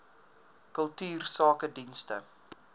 kultuursakedienste